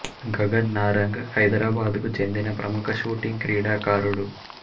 గగన్ నారంగ్ హైదరాబాద్ కు చెందిన ప్రముఖ షూటింగ్ క్రీడాకారుడు